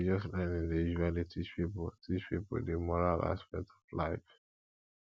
religious learning dey usually teach pipo teach pipo di moral aspect of life